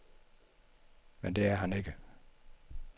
Men det er han ikke.